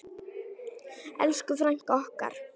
Elsku frænka okkar.